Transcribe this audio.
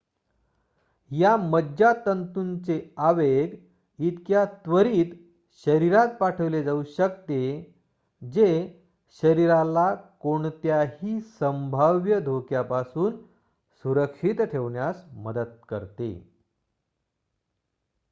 या मज्जातंतूचे आवेग इतक्या त्वरीत शरीरात पाठविले जाऊ शकते जे शरीराला कोणत्याही संभाव्य धोक्यापासून सुरक्षित ठेवण्यास मदत करते